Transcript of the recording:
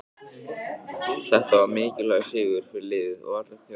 Þetta var mikilvægur sigur fyrir liðið og alla þjóðina.